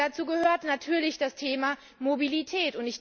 Und dazu gehört natürlich das Thema Mobilität.